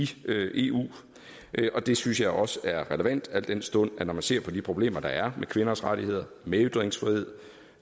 eu og det synes jeg også er relevant al den stund at når man ser på de problemer der er med kvinders rettigheder og med ytringsfrihed